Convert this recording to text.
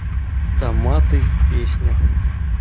томаты песня